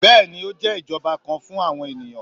bẹẹni, o jẹ ijọba kan fun awọn eniyan